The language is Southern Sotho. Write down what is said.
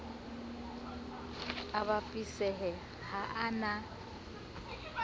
a bapisehe ha a na